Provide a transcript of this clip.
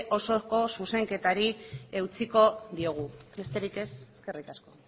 osoko zuzenketari eutsiko diogu besterik ez eskerrik asko